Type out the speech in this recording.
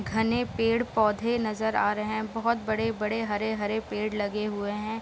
घने पेड़-पौधे नजर आ रहे हैं बहुत बड़े-बड़े हरे-हरे पेड़ लगे हुए हैं।